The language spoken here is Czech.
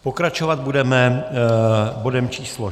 Pokračovat budeme bodem číslo